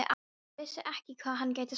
Hann vissi ekki hvað hann gæti sagt.